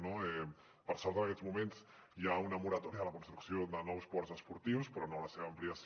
no per sort en aquests moments hi ha una moratòria de la construcció de nous ports esportius però no la seva ampliació